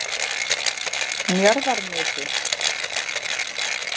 Njarðarnesi